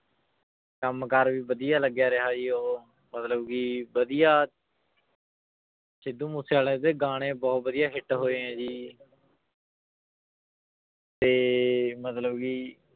ਕੰਮ ਕਾਰ ਵੀ ਵਧੀਆ ਲੱਗਿਆ ਰਿਹਾ ਜੀ ਉਹ ਮਤਲਬ ਕਿ ਵਧੀਆ ਸਿੱਧੂ ਮੂਸੇਵਾਲੇ ਦੇ ਗਾਣੇ ਬਹੁਤ ਵਧੀਆ hit ਹੋਏ ਹੈ ਜੀ ਤੇ ਮਤਲਬ ਕਿ